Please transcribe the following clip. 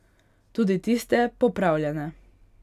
Tudi tiste popravljene.